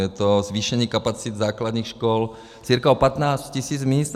Je to zvýšení kapacit základních škol cca o 15 tis. míst.